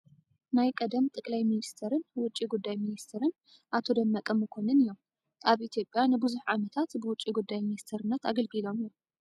ናይ ቀደም ጠቅላይ ሚኒስተርን ውጪ ጉዳይ ሚኒስተርን ኣቶ ደመቀ መኮነን እዮም። ኣብ ኢትዮጵያ ንብዙሕ ዓመታት ብውጪ ጉዳይ ሚኒስተርነት ኣገልጊሎም እዮም።